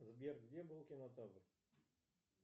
сбер где был кинотавр